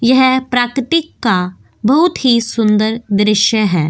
यह प्राकृतिक का बहुत ही सुंदर दृश्य है।